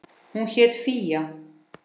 Hún hét Fía.